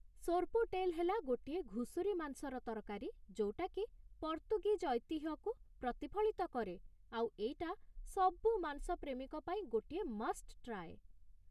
ସୋର୍ପୋଟେଲ୍ ହେଲା ଗୋଟିଏ ଘୁଷୁରି ମାଂସର ତରକାରୀ ଯୋଉଟାକି ପର୍ତ୍ତୁଗୀଜ୍ ଐତିହ୍ୟକୁ ପ୍ରତିଫଳିତ କରେ, ଆଉ ଏଇଟା ସବୁ ମାଂସ ପ୍ରେମୀଙ୍କ ପାଇଁ ଗୋଟିଏ ମଷ୍ଟ୍ ଟ୍ରାଏ ।